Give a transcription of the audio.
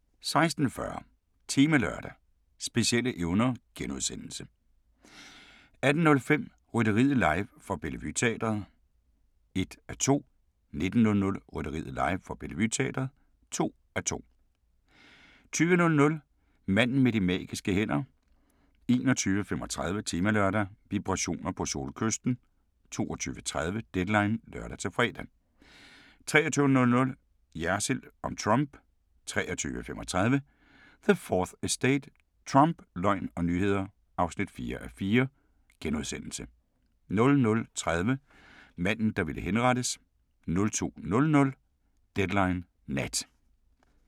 16:40: Temalørdag: Specielle evner * 18:05: Rytteriet live fra Bellevue Teatret (1:2) 19:00: Rytteriet live fra Bellevue Teatret (2:2) 20:00: Manden med de magiske hænder 21:35: Temalørdag: Vibrationer på Solkysten 22:30: Deadline (lør-fre) 23:00: Jersild om Trump 23:35: The 4th Estate - Trump, løgn og nyheder (4:4)* 00:30: Manden der ville henrettes 02:00: Deadline Nat